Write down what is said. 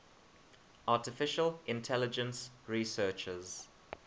artificial intelligence researchers